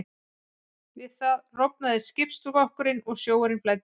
Við það rofnaði skipsskrokkurinn og sjór flæddi inn.